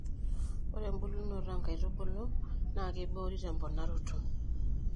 ore ebulunoto oo nkaitubulu naa keiboori te mponaroto